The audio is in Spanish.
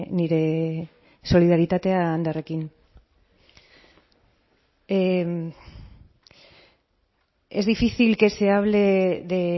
nire solidaritatea anderrekin es difícil que se hable de